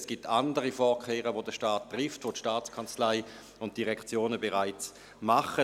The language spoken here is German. Es gibt andere Vorkehrungen, die der Staat trifft, die die Staatskanzlei und die Direktionen bereits machen;